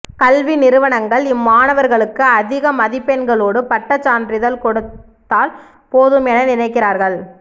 கல்விநிறுவனங்கள் இம்மாணவர்களுக்கு அதிக மதிப்பெண்களோடு பட்டச்சான்றிதழ் கொடுத்தால் போதும் என நினைக்கிறார்கள்